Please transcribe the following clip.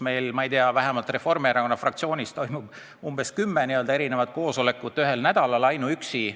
Meil Reformierakonna fraktsioonis toimub umbes kümme erinevat koosolekut ühel nädalal ainuüksi.